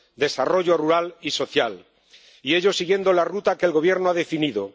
desarrollo rural y social. Y ello siguiendo la ruta que el Gobierno ha definido.